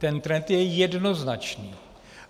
Ten trend je jednoznačný.